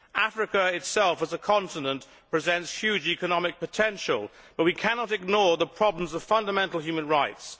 Africa itself as a continent presents huge economic potential but we cannot ignore the problems of fundamental human rights.